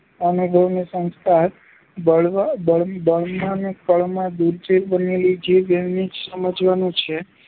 અનુભવે ને સંસ્કારે, બાળવા બળ~બળમાં ને કળમાં દુર્જેય બનેલી જીભ એમ જ સમજવાનું છે.